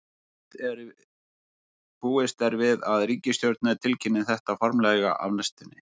Búist er við að ríkisstjórnirnar tilkynni þetta formlega á næstunni.